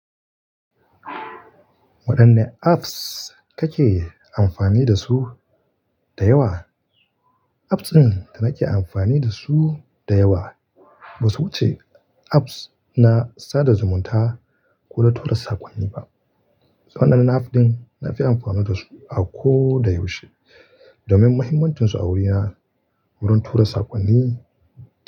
Waɗanne apps kake amfani da su da yawa? Apps ɗin da nake amfani da su da yawa basu wuce apps na sada zumunta ko na tura sakonni ba. Waɗannan apps ɗin na fi amfani da su a koda yaushe domin mahimmancinsu a wurina wurin tura sakonni.